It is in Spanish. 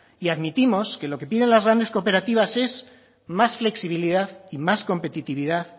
y admitimos que lo que piden las grandes cooperativas es más flexibilidad y más competitividad